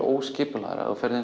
óskipulagt ef þú ferð